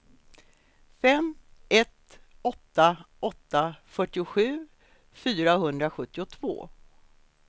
fem ett åtta åtta fyrtiosju fyrahundrasjuttiotvå